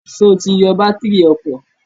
Sọ ti yọ bátírì ọkọ̀?